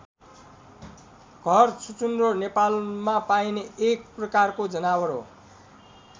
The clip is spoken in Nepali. घर छुचुन्द्रो नेपालमा पाइने एक प्रकारको जनावर हो।